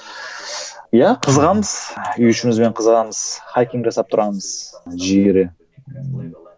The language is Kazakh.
иә қызығамыз үй ішімізбен қызығамыз жасап тұрамыз